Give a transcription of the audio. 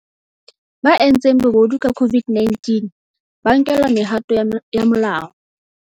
Ba entseng bobodu ka COVID-19 ba nkelwa mehato ya molao.